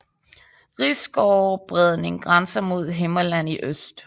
Risgårde Bredning grænser mod Himmerland i øst